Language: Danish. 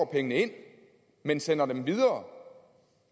pengene ind men sender dem videre